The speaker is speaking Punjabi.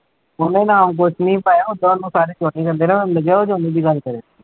ਉਹਨੇ ਨਾਮ ਕੁਛ ਨੀ ਪਾਇਆ, ਓਦਾਂ ਉਹਨੂੰ ਸਾਰੇ ਜੋਹਨੀ ਕਹਿੰਦੇ ਨਾ